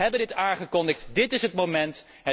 Wij hebben het aangekondigd, dit is het moment.